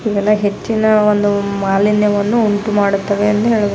ಇವೆಲ್ಲ ಹೆಚ್ಚಿನ ಒಂದು ಮಾಲಿನ್ಯವನ್ನು ಉಂಟು ಮಾಡುತ್ತವೆ ಎಂದು ಹೇಳ್ಬಹುದು --